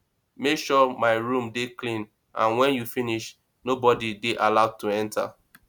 make sure my room dey clean and wen you finish nobody dey allowed to enter